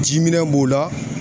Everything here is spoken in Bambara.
Ji minɛn b'o la